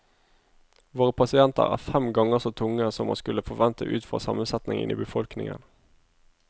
Våre pasienter er fem ganger så tunge som man skulle forvente utfra sammensetningen i befolkningen.